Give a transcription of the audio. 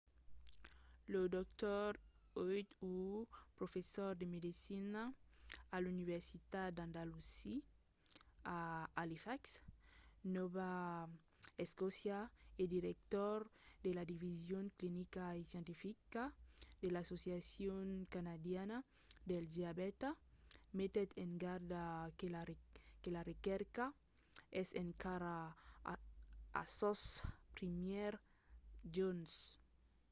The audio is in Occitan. lo dr. ehud ur professor de medecina a l'universitat dalhousie a halifax nòva escòcia e director de la division clinica e scientifica de l'associacion canadiana del diabèta metèt en garda que la recerca es encara a sos primièrs jorns